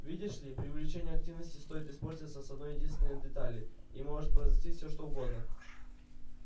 видишь ли при увеличении активности стоит испортиться с одной-единственной детали и может произойти всё что угодно